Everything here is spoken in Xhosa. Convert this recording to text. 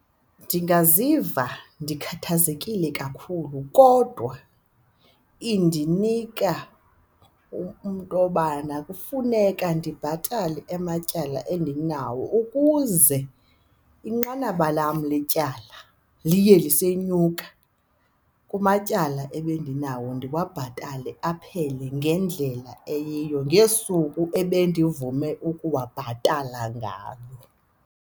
Ndingaziva ndikhathazekile kakhulu kodwa indinika intobana kufuneka ndibhatale amatyala endinawo ukuze inqanaba lam letyala liye lisenyuka kumatyala ebendinawo, ndiwabhatale aphele ngendlela eyiyo ngesuku ebendivume ukuwabhatala ngalo.